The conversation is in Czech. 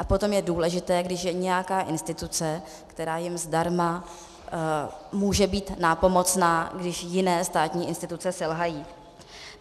A potom je důležité, když je nějaká instituce, která jim zdarma může být nápomocná, když jiné státní instituce selžou.